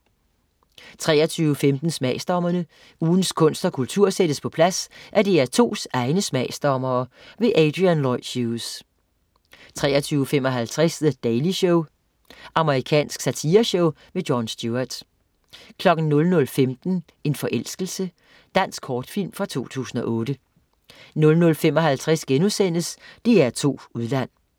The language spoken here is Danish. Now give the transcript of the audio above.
23.15 Smagsdommerne. Ugens kunst og kultur sættes på plads af DR2s egne smagsdommere. Adrian Lloyd Hughes 23.55 The Daily Show. amerikansk satireshow. Jon Stewart 00.15 En forelskelse. Dansk kortfilm fra 2008 00.55 DR2 Udland*